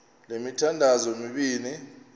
le mithandazo mibini